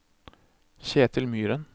Ketil Myhren